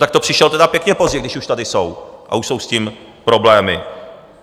Tak to přišel tedy pěkně pozdě, když už tady jsou a už jsou s tím problémy.